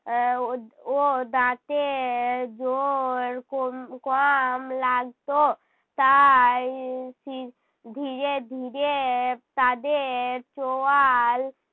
আহ ও দাঁতে জোর কোম কম লাগতো। তাই সি ধীরে ধীরে তাদের চোয়াল